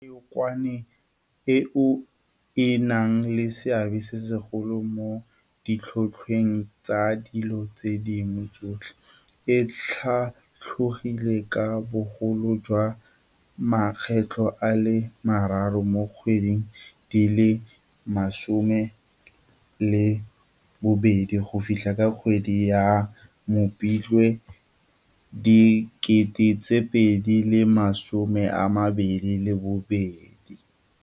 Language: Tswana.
Tlhotlhwa ya leokwane, eo e nang le seabe se segolo mo ditlhotlhweng tsa dilo tse dingwe tsotlhe, e tlhatlogile ka bogolo jwa makgetlo a le mararo mo dikgweding di le 12 go fitlha ka kgwedi ya Mopitlwe 2022.